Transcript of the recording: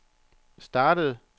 startede